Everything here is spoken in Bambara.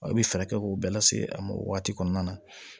I bɛ fɛɛrɛ k'o bɛɛ lase a ma o waati kɔnɔna na